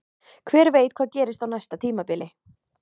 Hver veit hvað gerist á næsta tímabili?